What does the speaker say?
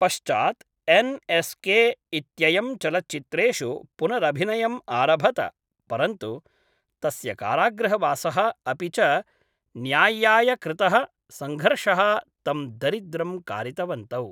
पश्चात् एन्.एस्.के इत्ययं चलच्चित्रेषु पुनरभिनयम् आरभत परन्तु तस्य कारागृहवासः अपि च न्याय्याय कृतः सङ्घर्षः तं दरिद्रं कारितवन्तौ।